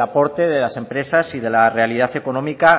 aporte de las empresas y de la realidad económica